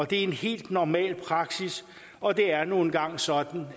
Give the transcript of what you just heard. det er en helt normal praksis og det er nu engang sådan